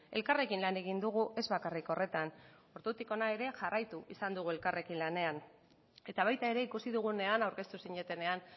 elkarrekin lan egin dugu ez bakarrik horretan ordutik hona ere jarraitu izan dugu elkarrekin lanean eta baita ere ikusi dugunean aurkeztu zinetenean